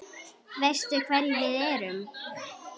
Veistu hverjir við erum?